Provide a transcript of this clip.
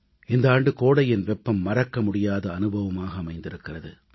இந்த ஆண்டு கோடையின் வெப்பம் மறக்க முடியாத அனுபவமாக அமைந்திருக்கிறது